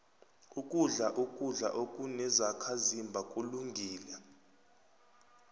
ukudla ukudla okunezakhazimba kulungile